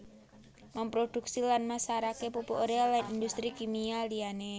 Memproduksi lan masarake pupuk urea lan industri kimia liyane